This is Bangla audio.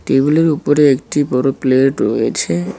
টেবিলের উপরে একটি বড়ো প্লেট রয়েছে।